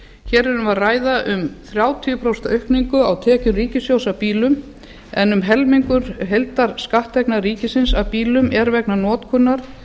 hér erum við að ræða um þrjátíu prósent aukningu á tekjum ríkissjóðs af bílum en um helmingur heildarskatttekna ríkisins af bílum er vegna notkunar